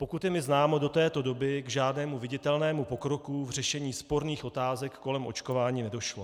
Pokud je mi známo, do této doby k žádnému viditelnému pokroku v řešení sporných otázek kolem očkování nedošlo.